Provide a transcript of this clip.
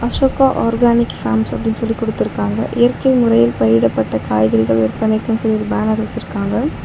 Ashoka organic farms அப்டின் சொல்லி குடுத்துருக்காங்க இயற்கை முறையில் பயிரிடப்பட்ட காய்கறிகள் விற்பனைக்கு சொல்லி ஒரு பேனர் வச்சுருக்காங்க.